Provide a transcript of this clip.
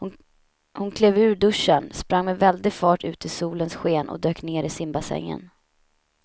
Hon klev ur duschen, sprang med väldig fart ut i solens sken och dök ner i simbassängen.